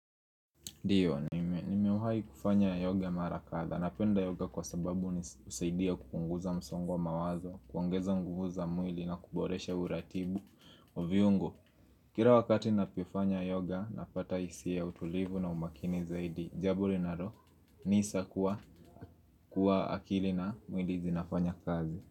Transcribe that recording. Ndio, nimewai kufanya yoga mara kadha. Napenda yoga kwa sababu husaidia kupunguza msongo wa mawazo, kuongeza nguvu za mwili na kuboresha uratibu wa viungo. Kila wakati napofanya yoga, napata hisia ya utulivu na umakini zaidi. Jaburi na roho, nisa kuwa akili na mwili zinafanya kazi.